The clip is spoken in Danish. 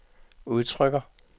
udtrykker